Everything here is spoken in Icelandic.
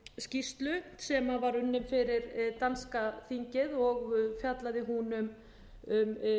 skýrslu sem var unnin fyrir danska þingið og fjallaði hún um